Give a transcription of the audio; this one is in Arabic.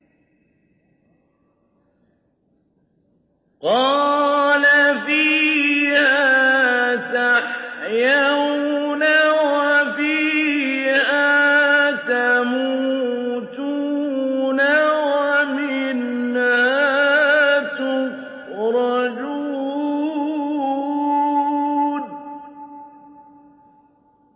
قَالَ فِيهَا تَحْيَوْنَ وَفِيهَا تَمُوتُونَ وَمِنْهَا تُخْرَجُونَ